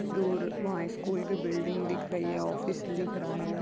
दूर वहाँ एक स्कूल की बिल्डिंग दिख रही है ऑफिस दिख रहा है।